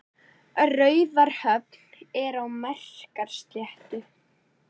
Raufarhöfn er á Melrakkasléttu.